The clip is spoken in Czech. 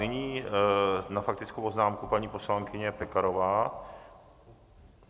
Nyní na faktickou poznámku paní poslankyně Pekarová.